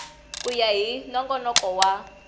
ku ya hi nongonoko wa